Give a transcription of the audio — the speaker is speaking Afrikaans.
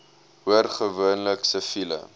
hoor gewoonlik siviele